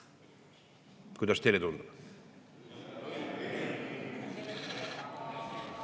Kuidas teile tundub?